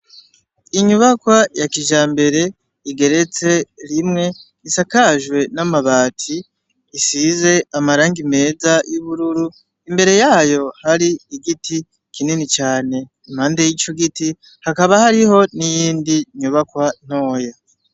Inyubakwa yakijambere igeretse rimwe isakajwe n'amabati isize amarangi meza y'ubururu imbere yayo hari igiti kinini cane impande y'igiti hakaba hariyo N’ iyindi nyubakwa ntoya